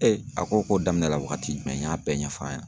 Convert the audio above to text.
a ko ko daminɛ la waagati jumɛn, n y'a bɛɛ ɲɛf'a yen